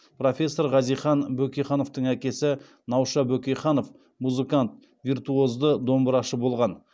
профессор хазихан бөкейхановтың әкесі науша бөкейханов музыкант виртуозды домбырашы болған